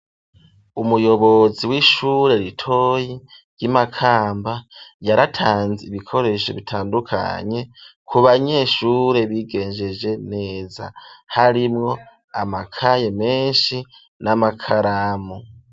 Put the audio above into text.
Umuyobozi w'ishure ritoyi ry'i Makamba yaratanze ibikoresho bitandukanye ku banyeshure bigenjeje neza, harimwo amakaye menshi n'amakaramu.